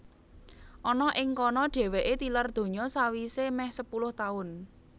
Ana ing kana dhèwèké tilar donya sawisé mèh sepuluh taun